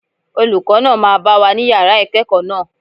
Olùkọ́ náà máa bá wa ní Yàrá ìkẹ́ẹ̀kọ̀ náà.